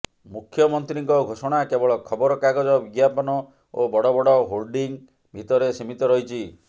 ମୁଖ୍ୟମନ୍ତ୍ରୀଙ୍କ ଘୋଷଣା କେବଳ ଖବର କାଗଜ ବିଜ୍ଞାପନ ଓ ବଡ ବଡ ହୋର୍ଡିଂ ଭିତରେ ସୀମିତ ରହିଛି